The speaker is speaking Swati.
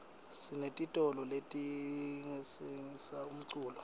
sinetitolo letitsengisa umculo